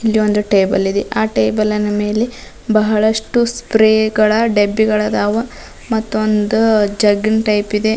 ಇಲ್ಲಿ ಒಂದು ಟೇಬಲ್ ಇದೆ ಆ ಟೇಬಲ್ ನ ಮೇಲೆ ಬಹಳಷ್ಟು ಸ್ಪ್ರೇ ಗಳ ಡಬ್ಬಿಗಳದಾವ ಮತ್ತೊಂದು ಜಗ್ಗಿ ನ ಟೈಪ್ ಇದೆ.